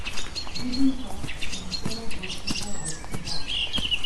Ljubim te in vse najboljše za rojstni dan.